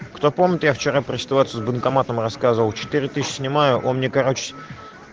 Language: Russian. кто помните я вчера про ситуацию с банкоматом рассказывал четыре тысячи снимаю он мне короче